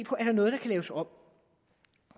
på er der noget der kan laves om